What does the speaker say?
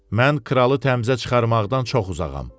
Mən kralı təmcə çıxarmaqdan çox uzağam.